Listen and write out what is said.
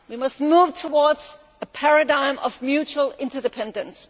We must move towards a paradigm of mutual interdependence.